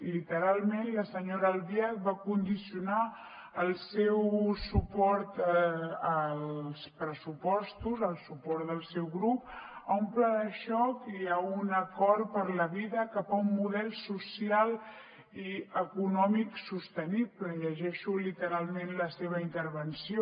literalment la senyora albiach va condicionar el seu suport als pressupostos el suport del seu grup a un pla de xoc i a un acord per a la vida cap a un model social i econòmic sostenible llegeixo literalment la seva intervenció